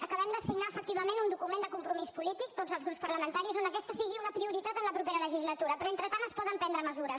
acabem de signar efectivament un document de compromís polític tots els grups parlamentaris on aquesta sigui una prioritat en la propera legislatura però entretant es poden prendre mesures